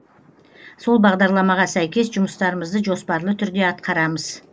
сол бағдарламаға сәйкес жұмыстарымызды жоспарлы түрде атқарамыз